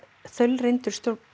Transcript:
þaulreynd